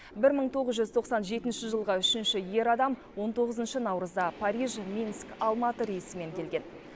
бір мың тоғыз жүз тоқсан жетінші жылғы үшінші ер адам он тоғызыншы наурызда париж минск алматы рейсімен келген